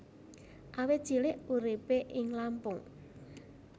Awit cilik uripé ing Lampung